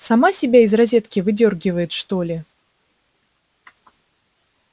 сама себя из розетки выдёргивает что ли